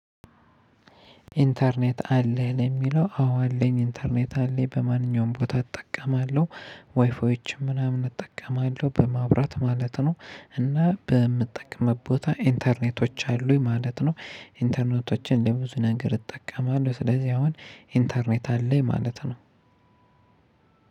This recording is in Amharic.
ኢንተርኔት አለኝ የሚለው አዎ አለኝ ኢንተርኔት አለኝ በማንኛውም ቦታ እጠቀማለሁ። ዋይዮችም ምናምን እጠቀማለሁ በማብራት ማለት ነው። እና በምትጠቀምበት ቦታ ኢንተርኔቶች አሉኝ ማለት ነው። ኢንተርኔቶችን ለብዙ ነገር እጠቀማለሁ ስለዚህ አሁን ኢንተርኔት አለኝ ማለት ነው።